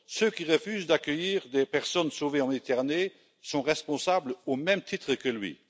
Ceux qui refusent d'accueillir des personnes sauvées en Méditerranée sont responsables au même titre que lui.